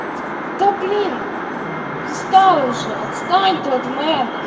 да блин достало уже отстань ты от меня